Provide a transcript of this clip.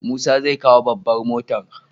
Musa zai kawo babbar motar.